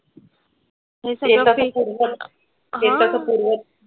घेतलं तर पूर्णच.